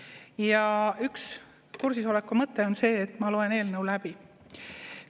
Ja üks kursis oleku mõte on see, et ma loen eelnõu läbi.